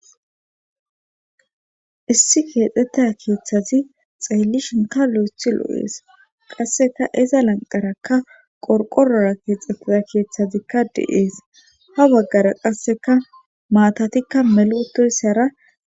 issi keexxetta keeththazi xeellishonka lo'ethi lo'ees qasseka iza lanqarakka qorqorora keexxettea keeththazikka de'es. ha waggara qasseka maatatikka meluutoyssara.